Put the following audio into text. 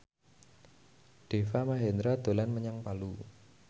Deva Mahendra dolan menyang Palu